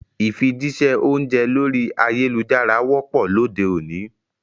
Ìfijíṣẹ́ oúnjẹ lorí ayélujára wọ́pọ̀ lóde òní